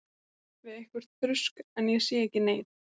Hrekk svo upp við eitthvert þrusk, en ég sé ekki neinn.